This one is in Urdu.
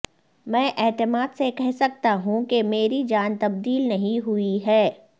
میں اعتماد سے کہہ سکتا ہوں کہ میری جان تبدیل نہیں ہوئی ہے